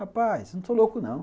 Rapaz, eu não sou louco, não.